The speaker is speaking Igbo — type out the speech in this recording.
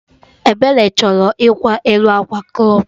Ebere chọrọ ịkwa elu akwa crọp